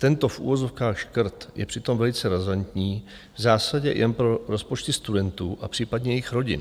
Tento v uvozovkách škrt je přitom velice razantní v zásadě jen pro rozpočty studentů a případně jejich rodin.